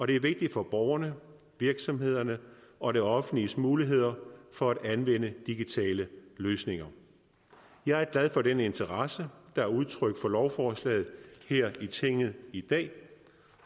det er vigtigt for borgerne virksomhederne og det offentliges muligheder for at anvende digitale løsninger jeg er glad for den interesse der er udtrykt for lovforslaget her i tinget i dag